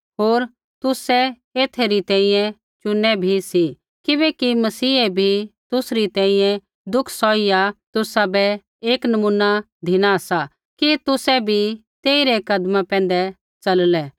होर तुसै एथै री तैंईंयैं चुनै भी सी किबैकि मसीहै भी तुसरी तैंईंयैं दुख सौहिया तुसाबै एक नमूना धिना सा कि तुसै भी तेइरै कदमा पैंधै च़ललै